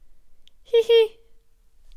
Hi, hi!